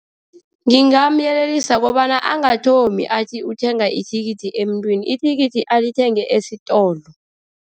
Ngingamyelelisa kobana angathomi athi uthenga ithikithi emntwini. Ithikithi alithenge esitolo.